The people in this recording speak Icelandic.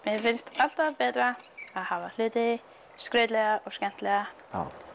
já mér finnst alltaf betra að hafa hluti skrautlega og skemmtilega